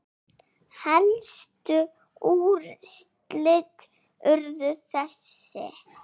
Helstu úrslit urðu þessi